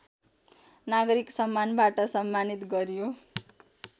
नागरिक सम्मानवाट सम्मानित गरियो